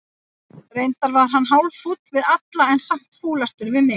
Reyndar var hann hálffúll við alla, en samt fúlastur við mig.